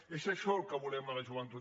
és això el que volem de la joventut